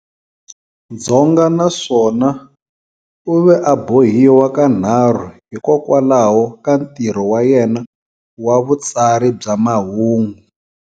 Dzonga, na swona u ve a bohiwa kanarhu hikokwalaho ka ntirho wa yena wa vutsari bya mahungu.